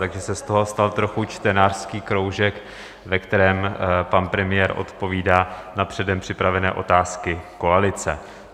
Takže se z toho stal trochu čtenářský kroužek, ve kterém pan premiér odpovídá na předem připravené otázky koalice.